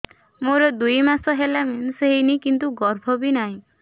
ମୋର ଦୁଇ ମାସ ହେଲା ମେନ୍ସ ହେଇନି କିନ୍ତୁ ଗର୍ଭ ବି ନାହିଁ